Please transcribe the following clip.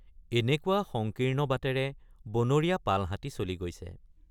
এনেকুৱা সংকীৰ্ণ বাটেৰে বনৰীয়া পালহাতী চলি গৈছে।